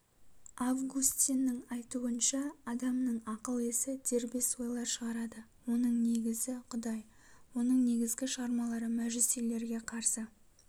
августиннің айтуынша адамның ақыл есі дербес ойлар шығарады оның негізі құдай оның негізгі шығармалары мәжүсилерге қарсы